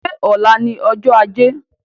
Ṣé ọ̀la ni ọjọ́ ajé?